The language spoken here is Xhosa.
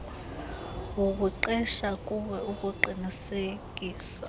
wokuqesha kuwe ukuqinisekisa